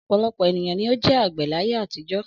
Ọ̀pọ̀lọpọ̀ ènìyàn ni ó jẹ́ àgbẹ̀ láyé àtijọ́.